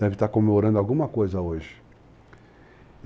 deve estar comemorando alguma coisa hoje.